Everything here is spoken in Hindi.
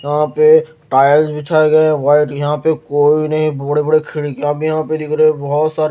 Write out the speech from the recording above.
यहां पे टाइल्स बिछाए गए हैं वाइट यहां पे कोई नहीं बड़े-बड़े खिड़कियां भी यहां पे देख रहे बहुत सारे--